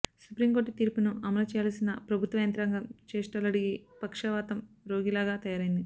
supreme court తీర్పును అమలు చేయాల్సిన ప్రభుత్వ యంత్రాంగం చేష్టలుడిగి పక్ష వాతం రోగిలాగా తయారైంది